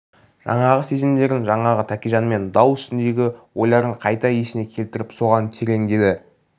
жаңағы сезімдерін жаңағы тәкежанмен дау үстіндегі ойларын қайта есіне келтіріп соған тереңдеді